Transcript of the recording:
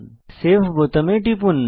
save বোতামে টিপুন